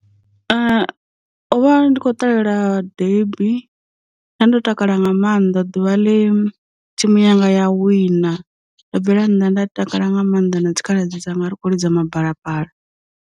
O vha ndi khou ṱalela debi, nda ndo takala nga maanḓa ḓuvha ḽe thimu yanga ya wina, ndo bvela nnḓa nda takala nga maanḓa na dzikhaladzi dzanga ri khou lidza mabalaphala.